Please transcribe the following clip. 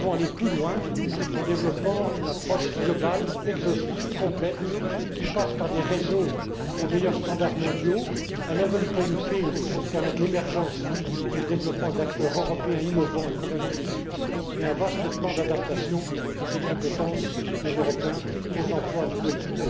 Act I et II. Nous devons aller plus loin en développant une approche globale, exhaustive, complète, qui passe par des réseaux aux meilleurs standards mondiaux, un level playing field pour permettre l'émergence et le développement d'acteurs européens innovants et compétitifs et un vaste plan d'adaptation des compétences des Européens aux emplois